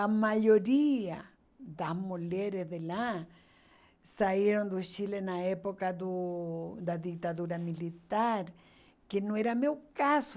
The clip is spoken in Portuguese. A maioria das mulheres de lá saíram do Chile na época do da ditadura militar, que não era meu caso.